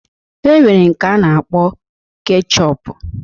E nwere nke a na-akpọ kechọpu